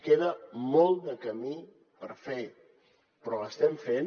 queda molt de camí per fer però l’estem fent